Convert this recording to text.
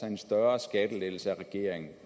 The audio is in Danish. en større skattelettelse af regeringen